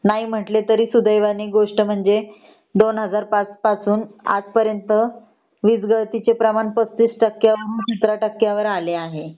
तरी सुदैवाने गोष्ट म्हणजे २००५ पासून वीज गळती चे प्रमाण ३५ टक्क्यावरून १५ टक्क्या वर आले आहे